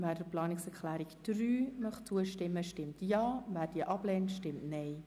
Wer der Planungserklärung 3 von Grossrat Alberucci zustimen möchte, stimmt Ja, wer diese ablehnt, stimmt Nein.